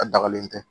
A dagalen tɛ